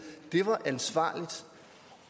var ansvarligt